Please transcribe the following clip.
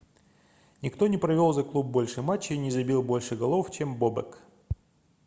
никто не провел за клуб больше матчей и не забил больше голов чем бобек